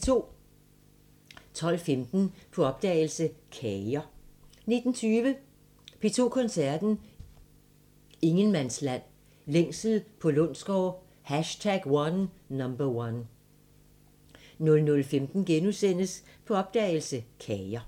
12:15: På opdagelse – Kager 19:20: P2 Koncerten – Ingenmandsland – Længsel på Lundsgaard #1 00:15: På opdagelse – Kager *